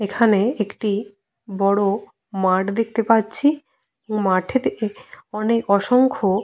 এখানে একটি বড় মাঠ দেখতে পাচ্ছি এবং মাঠেতে অনেক অসংখ্য।